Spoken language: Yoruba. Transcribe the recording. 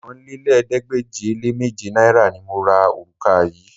Okòólélẹ́ẹ̀ẹ́dégbèje-le-méje náírà ni mo ra òrùka yìí